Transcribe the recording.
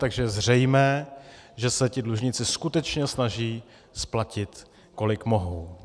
Takže je zřejmé, že se ti dlužníci skutečně snaží splatit, kolik mohou.